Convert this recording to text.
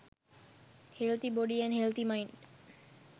healthy body & healthy mind